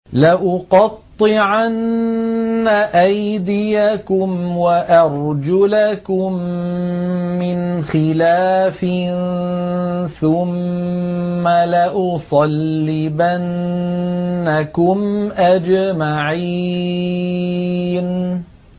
لَأُقَطِّعَنَّ أَيْدِيَكُمْ وَأَرْجُلَكُم مِّنْ خِلَافٍ ثُمَّ لَأُصَلِّبَنَّكُمْ أَجْمَعِينَ